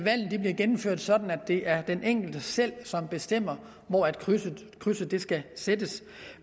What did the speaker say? gennemført sådan at det er den enkelte selv som bestemmer hvor krydset krydset skal sættes